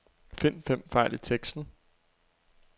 Find fem fejl i teksten.